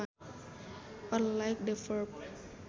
or like the verb